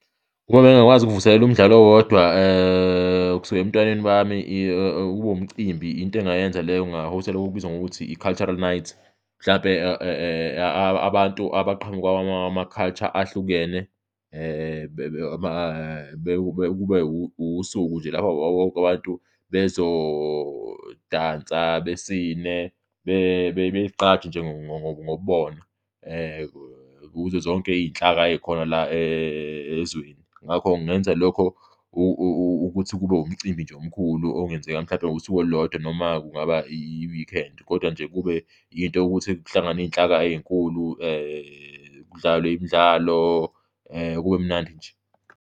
Uma bengingakwazi ukuvuselela umdlalo owodwa kusuka ebuntwaneni bami, kube umcimbi, into engingayenza leyo, nginga-host-a loku okubizwa ngokuthi i-cultural night. Mhlawumbe abantu abaqhamuka kwama-culture ahlukene, kube usuku nje lapho bonke abantu bezodansa, besine bezigqaje ngobubona kuzo zonke iy'nhlaka ey'khona la ezweni. Ngakho ngingenza lokho ukuthi kube umcimbi nje omkhulu ongenzeka mhlawumbe ngosuku olulodwa noma kungaba i-weekend kodwa nje kube yinto yokuthi kuhlangane iy'nhlaka ey'nkulu kudlalwe imidlalo, kube mnandi nje.